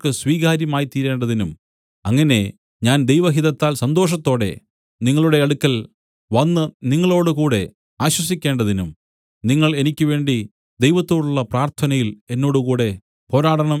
സ്വീകാര്യമായിത്തീരേണ്ടതിനും അങ്ങനെ ഞാൻ ദൈവഹിതത്താൽ സന്തോഷത്തോടെ നിങ്ങളുടെ അടുക്കൽ വന്നു നിങ്ങളോടുകൂടെ ആശ്വസിക്കേണ്ടതിനും നിങ്ങൾ എനിക്ക് വേണ്ടി ദൈവത്തോടുള്ള പ്രാർത്ഥനയിൽ എന്നോടുകൂടെ പോരാടണം